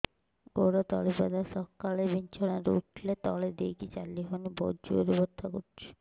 ଗୋଡ ତଳି ପାଦ ସକାଳେ ବିଛଣା ରୁ ଉଠିଲେ ତଳେ ଦେଇକି ଚାଲିହଉନି ବହୁତ ଜୋର ରେ ବଥା କରୁଛି